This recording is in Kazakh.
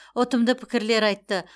ұтымды пікірлер айтты